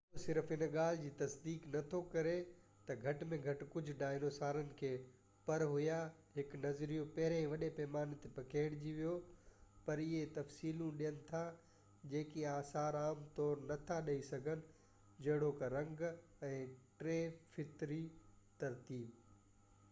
اهو صرف ان جي ڳالهہ جي تصديق نٿو ڪري تہ گهٽ ۾ گهٽ ڪجهہ ڊائنوسارن کي پر هيا، هڪ نظريو پهرين ئي وڏي پيماني تي پکيڙجي ويو، پر اهي تفصيلون ڏين ٿا جيڪي آثار عام طور تي نٿا ڏيئي سگهن، جهڙوڪ رنگ ۽ ٽي طرفي ترتيب